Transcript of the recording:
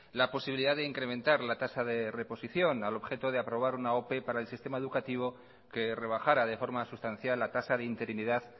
la posibilidad de incrementar la tasa de reposición al objeto de aprobar una ope para el sistema educativo que rebajara de forma sustancial la tasa de interinidad